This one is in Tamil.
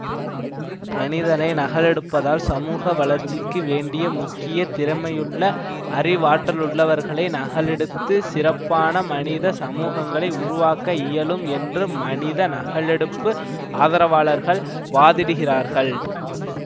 மனிதனை நகலெடுப்பதால் சமூக வளர்ச்சிக்கு வேண்டிய முக்கிய திறமையுள்ள அறிவாற்றலுள்ளவர்களை நகலெடுத்து சிறப்பான மனித சமூகங்களை உருவாக்க இயலும் என்று மனித நகலெடுப்பு ஆதரவாளர்கள் வாதிடுகிறார்கள்